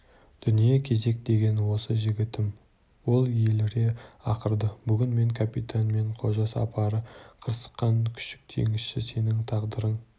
дүние кезек деген осы жігітім ол еліре ақырды бүгін мен капитан мен қожа сапары қырсыққан күшік теңізші сенің тағдырың